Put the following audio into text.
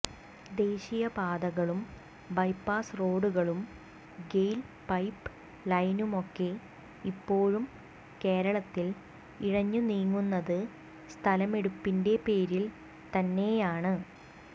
ദേശീയപാതകളും bypass റോഡുകളും GAIL pipe ലൈനുമൊക്കെ ഇപ്പോഴും കേരളത്തിൽ ഇഴഞ്ഞുനീങ്ങുന്നത് സ്ഥലമെടുപ്പിന്റെപേരിൽ തന്നെയാണ്